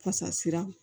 Fasasira